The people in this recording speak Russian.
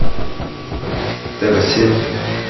тв семь